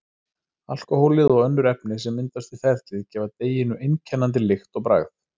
Alkóhólið og önnur efni sem myndast við ferlið gefa deiginu einkennandi lykt og bragð.